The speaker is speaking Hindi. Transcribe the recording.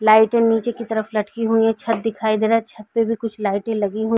लाइटें नीचे की तरफ लटकी हुई हैं। छत दिखाई दे रहा है। छत पे भी कुछ लाइटें लगी हुई --